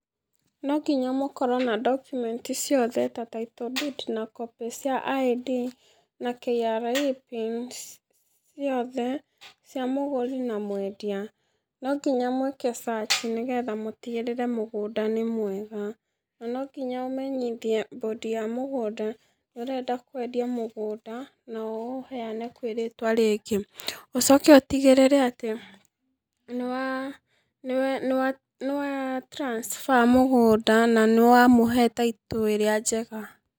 No ngĩnya mũkorwo na documents ciothe ta tittle deed na copy cia ID, na KRA PIN ciothe cia mũgũri na mwendia, no nginya mwĩke search, nĩgetha mũtigĩrĩre mũgũnda nĩ mwega na no nginya ũmenyithie board ya mũgũnda nĩũrenda kwendia mũgũnda na ũũheane kwĩ rĩtwa rĩngĩ, ũcoke ũtigĩrĩre atĩ nĩ wa transfer mũgũnda na nĩwamũhe title ĩrĩa njega.